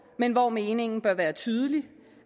men hvor meningen bør være tydelig